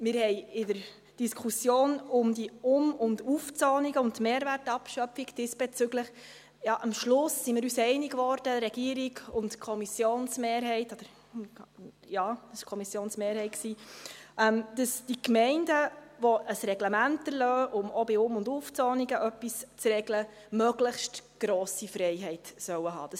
Wir, die Regierung und die Kommissionsmehrheit, wurden uns in der Diskussion über die Um- und Aufzonungen und die Mehrwertabschöpfung am Schluss einig, dass die Gemeinden, welche ein Reglement erlassen, um auch bei Um- und Aufzonungen etwas zu regeln, eine möglichst grosse Freiheit haben sollen.